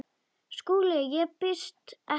SKÚLI: Ég býð ekki neitt.